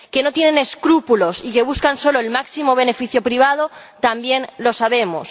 Que no tienen escrúpulos y que buscan solo el máximo beneficio privado, también lo sabemos.